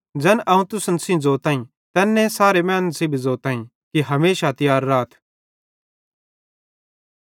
ज़ैन अवं तुसन सेइं ज़ोतईं तैन्ने सारे मैनन् सेइं भी ज़ोतईं कि हमेशा तियार राथ